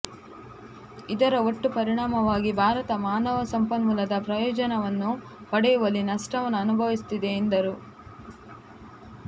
ಇದರ ಒಟ್ಟು ಪರಿಣಾಮವಾಗಿ ಭಾರತ ಮಾನವ ಸಂಪನ್ಮೂಲದ ಪ್ರಯೋಜನವನ್ನು ಪಡೆಯುವಲ್ಲಿ ನಷ್ಟವನ್ನು ಅನುಭವಿಸುತ್ತಿದೆ ಎಂದರು